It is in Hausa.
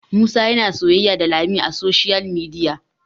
Musa yana soyayya da lami a soshiyal midiya